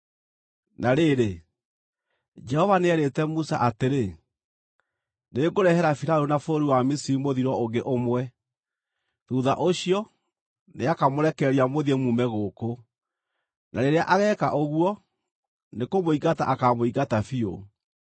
Na rĩrĩ, Jehova nĩeerĩte Musa atĩrĩ, “Nĩngũrehere Firaũni na bũrũri wa Misiri mũthiro ũngĩ ũmwe. Thuutha ũcio, nĩakamũrekereria mũthiĩ mume gũkũ, na rĩrĩa ageeka ũguo, nĩkũmũingata akaamũingata biũ.